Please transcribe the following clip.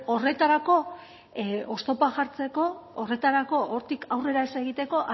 horretarako oztopoak jartzeko horretarako hortik aurrera ez egiteko